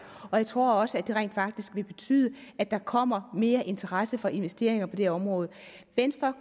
og jeg tror også at det rent faktisk vil betyde at der kommer mere interesse for investeringer på det område venstre